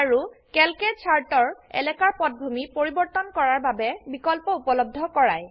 আৰু ক্যালকে চাৰ্টৰ এলাকাৰ পটভূমি পৰিবৰ্তন কৰাৰ বাবে বিকল্প উপলব্ধকৰায়